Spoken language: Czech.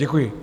Děkuji.